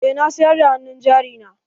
Eh na siyar da hannun jari na.